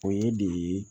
O ye de ye